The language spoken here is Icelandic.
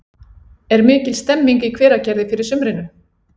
Er mikil stemming í Hveragerði fyrir sumrinu?